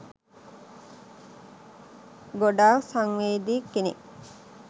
ගොඩාක් සංවේදී කෙනෙක්